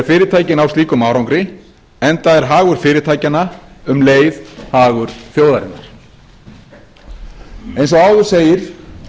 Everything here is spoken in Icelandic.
fyrirtæki ná slíkum árangri enda er hagur fyrirtækjanna um leið hagur þjóðarinnar eins og áður segir